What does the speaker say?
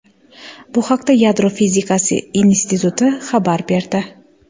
Bu haqda Yadro fizikasi instituti xabar berdi .